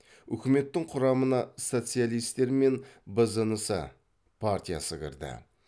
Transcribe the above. үкіметтің құрамына социалистер мен бзнс партиясы кірді